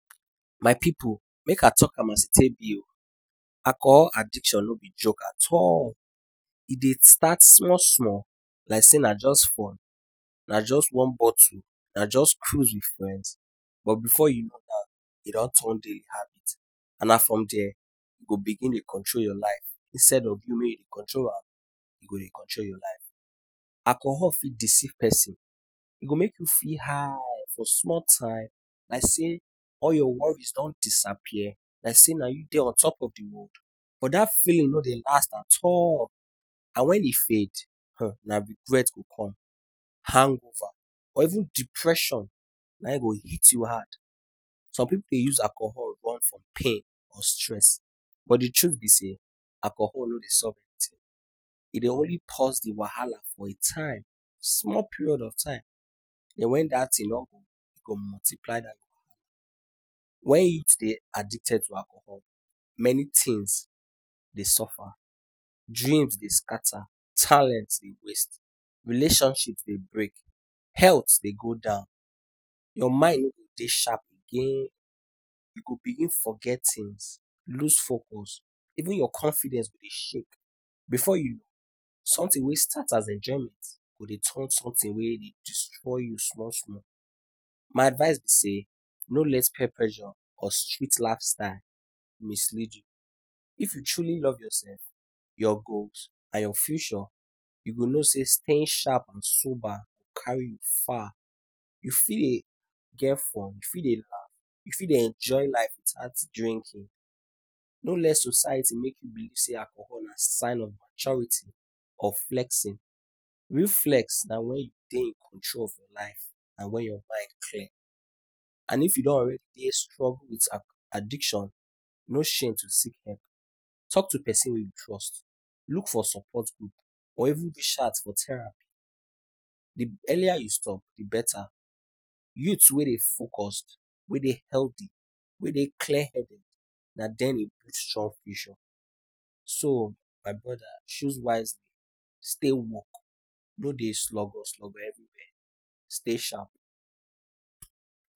My pipu! Make I talk am as e take be o Alcohol addiction no be joke at all. E dey start small-small like say na just fun. Na just one bottle, Na just cruise with friends. But before u know am, e don turn daily habit. And na from there e go begin dey control your life. Instead of you make you dey control am, e go dey control your life. Alcohol fit deceive pesin. E go make you feel high for small time, like say all your worries don disappear, like say na you dey on top of the world. But dat feeling no dey last at all. And when e fade, um Na regret go come. Hangover or even depression na him go hit you hard. Some pipu dey use alcohol run from pain or stress. But di truth be say, alcohol no dey solve anything. E dey only pause the wahala for a time small period of time. And when dat thing don go, e go multiply. When youth dey addicted to alcohol, many things dey suffer. Dreams dey scatter. Talent dey waste. Relationships dey break. Health dey go down. Your mind no go dey sharp again. You go begin forget things, lose focus even your confidence go dey shake. Before you something wey as enjoyment go turn something wey dey destroy small-small. My advice be say no let peer pressure or street lifestyle mislead u. If u truly love yourself, your goals and your future, u go know say staying sharp and sober carry you far you fit dey get fun u fit dey laugh u fit dey enjoy life without drinking. No let society make you look say alcohol nah sign of maturity or flexing. Real flex na when you dey in control of your life. And when your mind clear. And if u don already dey strong with addiction, no shame to seek help. Talk to pesin wey u trust. Look for support group or even reach out for therapy. The earlier u stop, the better. Youth wey dey focused, wey dey healthy, wey dey clear headed na dem. So, my brother, choose wisely. Stay woke! No dey slugur slugur everywhere. Stay sharp.